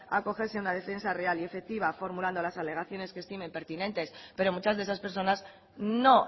acogerse a una defensa real y efectiva formulando las alegaciones que estimen pertinentes pero muchas de esas personas no